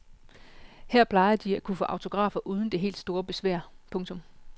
Her plejer de at kunne få autografer uden det helt store besvær. punktum